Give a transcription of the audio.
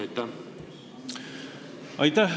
Aitäh!